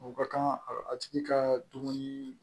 U ka kan a tigi ka dumuni